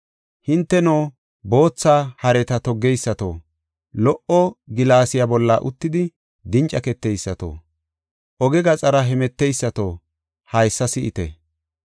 Hinteno, bootha hareta toggeysato, lo77o gilaasiya bolla uttidi dincaketeysato, oge gaxara hemeteysato haysa si7ite.